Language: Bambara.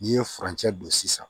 N'i ye furancɛ don sisan